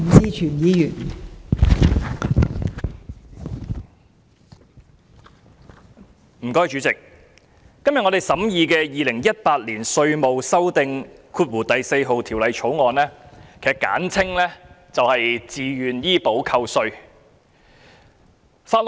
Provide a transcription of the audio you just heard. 代理主席，今天審議的《2018年稅務條例草案》關乎自願醫保的扣稅安排。